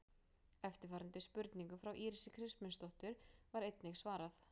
Eftirfarandi spurningu frá Írisi Kristmundsdóttur var einnig svarað: